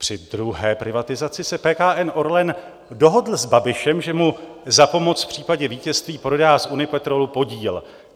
Při druhé privatizaci se PKN Orlen dohodl s Babišem, že mu za pomoc v případě vítězství prodá z Unipetrolu podíl.